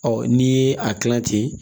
Ɔ n'i ye a kila ten